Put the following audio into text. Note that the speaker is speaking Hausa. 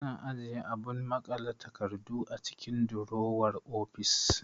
Ana ajiye abun maƙale takardu a cikin durowar ofis